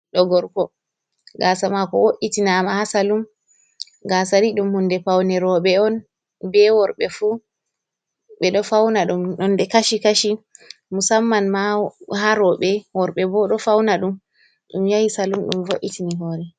Do gorko gasa mako wo’itina ama ha salum gasa ni dum hunde paune roɓe on be worbe fu be do fauna dum ɗonde kashi kashi musamman ma ha roɓe worbe bo do fauna dum, dum yahi salum dum vo’itini hore.